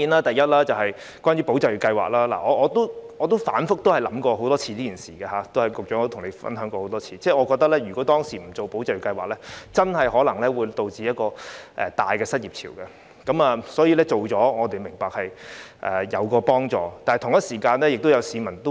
第一，對於"保就業"計劃，我自己曾反覆思考，亦曾與局長多次分享，我也認為如果當時沒有推出"保就業"計劃，真的可能出現龐大的失業潮，所以我們明白推行計劃是有幫助的。